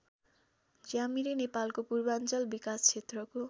ज्यामिरे नेपालको पूर्वाञ्चल विकास क्षेत्रको